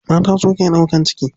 Mata su ke ɗaukan ciki.